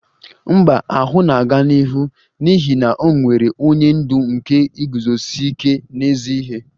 Mba ahụ na-aga n'ihu n'ihi na o nwere onye ndu nke iguzosi ike n'ezi ihe